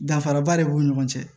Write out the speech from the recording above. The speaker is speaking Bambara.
Danfaraba de b'u ni ɲɔgɔn cɛ